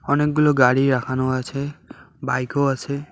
অনেকগুলো গাড়ি রাখানো আছে বাইকও আছে।